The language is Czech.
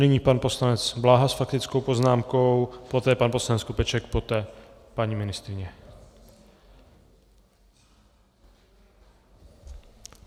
Nyní pan poslanec Bláha s faktickou poznámkou, poté pan poslanec Skopeček, poté paní ministryně.